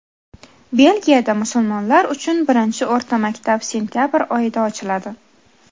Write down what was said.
Belgiyada musulmonlar uchun birinchi o‘rta maktab sentabr oyida ochiladi.